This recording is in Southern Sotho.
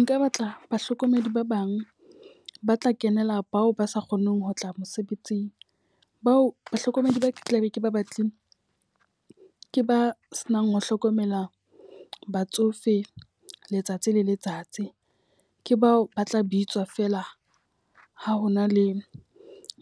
Nka batla bahlokomedi ba bang ba tla kenela bao ba sa kgoneng ho tla mosebetsing. Bao bahlokomedi ba tla be ke ba batlile ke ba se nang ho hlokomela batsofe letsatsi le letsatsi. Ke bao ba tla bitswa fela ha hona le